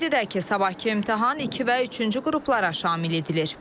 Qeyd edək ki, sabahkı imtahan iki və üçüncü qruplara şamil edilir.